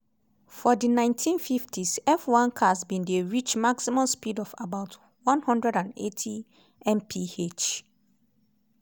for di 1950s f1 cars bin dey reach maximum speeds of about 180 mph.